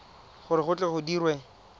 gore go tle go dirwe